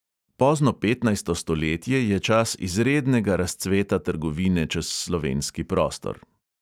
Pozno petnajsto stoletje je čas izrednega razcveta trgovine čez slovenski prostor.